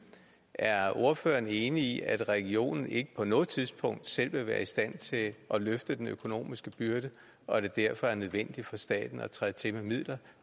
er ordføreren enig i at regionen ikke på noget tidspunkt selv vil være i stand til at løfte den økonomiske byrde og at det derfor er nødvendigt for staten at træde til med midler